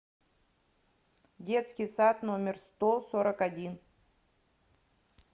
детский сад номер сто сорок один